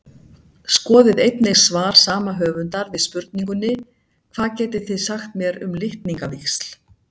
Skoðið einnig svar sama höfundar við spurningunni Hvað getið þið sagt mér um litningavíxl?